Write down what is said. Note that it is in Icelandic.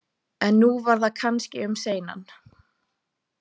En nú var það kannski um seinan.